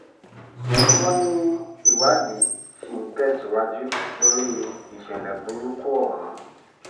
wọ́n ní ìwádìí ṣì ń tẹ̀síwájú lórí ìṣẹ̀lẹ̀ burúkú ọ̀hún